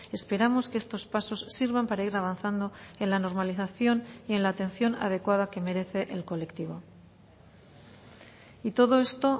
esperamos que estos pasos sirvan para ir avanzando en la normalización y en la atención adecuada que merece el colectivo y todo esto